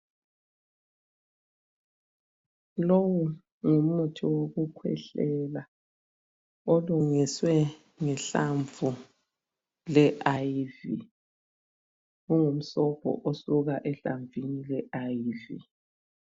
Lowu ngumuthi wokukhwehlela. Olungiswe ngehlamvu le IVY.Ungumsobho osuka ehlamvini le IVY.